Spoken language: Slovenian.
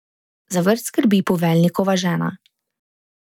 Za vrt skrbi poveljnikova žena.